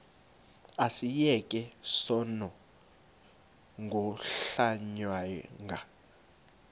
asiyeke sono smgohlwaywanga